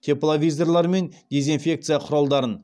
тепловизорлар мен дезинфекция құралдарын